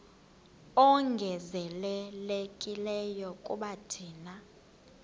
ongezelelekileyo kuba thina